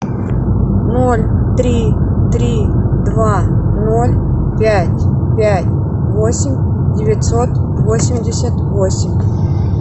ноль три три два ноль пять пять восемь девятьсот восемьдесят восемь